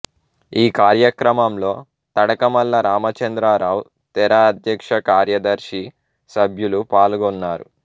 ఈ కార్యక్రమంలో తడకమళ్ళ రామచంద్రరావు తెర అధ్యక్షకార్యదర్శి సభ్యలు పాల్గొన్నారు